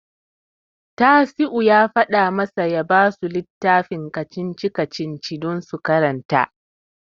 Tasi'u ya faɗa masa ya basu littafin kacici-kacici don su karanta.